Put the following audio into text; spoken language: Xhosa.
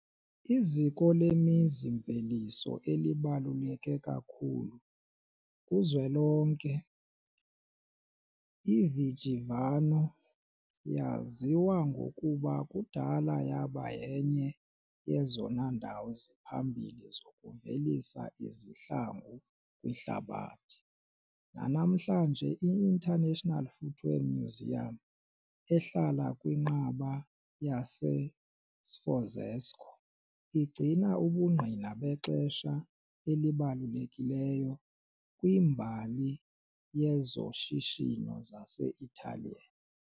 Iziko lemizi-mveliso elibaluleke kakhulu kuzwelonke, iVigevano yaziwa ngokuba kudala yaba yenye yezona ndawo ziphambili zokuvelisa izihlangu kwihlabathi. Nanamhlanje, i- International Footwear Museum, ehlala kwiNqaba yaseSforzesco, igcina ubungqina bexesha elibalulekileyo kwimbali yezoshishino zase-Italian.